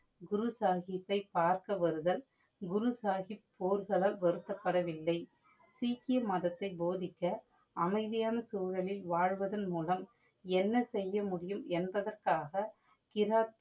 குரு சாஹிபை பார்க்க வருதல் குரு சாஹிப் போர்கலால் வருத்தப்படவில்லை. சீக்க்கிய மதத்தை போதிக்க அமைதியான சூழழில் வாழ்வதன் முலம் என்ன செய்ய முடியும் என்பதற்காக கிராத்